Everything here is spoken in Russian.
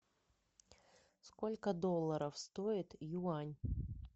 сколько долларов стоит юань